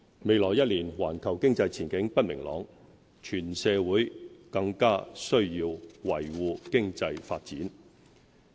未來一年，環球經濟前景不明朗，全社會更須維護經濟發展。